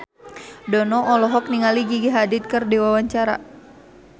Dono olohok ningali Gigi Hadid keur diwawancara